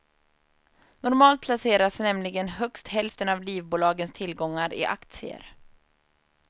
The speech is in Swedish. Normalt placeras nämligen högst hälften av livbolagens tillgångar i aktier.